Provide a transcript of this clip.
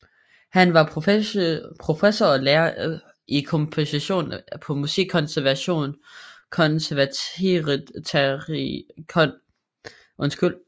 Han var professor og lærer i komposition på Musikkonservatoriet i Graz og var gæsteprofessor på Musikkonservatoriet i Budapest